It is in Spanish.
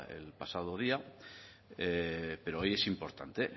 el pasado día pero hoy es importante